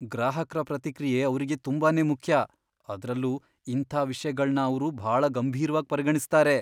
ಗ್ರಾಹಕ್ರ ಪ್ರತಿಕ್ರಿಯೆ ಅವ್ರಿಗೆ ತುಂಬಾನೇ ಮುಖ್ಯ. ಅದ್ರಲ್ಲೂ ಇಂಥ ವಿಷ್ಯಗಳ್ನ ಅವ್ರು ಭಾಳ ಗಂಭೀರ್ವಾಗ್ ಪರಿಗಣಿಸ್ತಾರೆ.